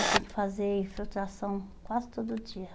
Eu tinha que fazer infiltração quase todo dia.